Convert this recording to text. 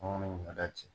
ɲɔ da ten